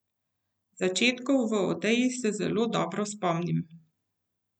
Začetkov v Odeji se zelo dobro spomnim.